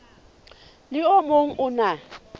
le o mong o na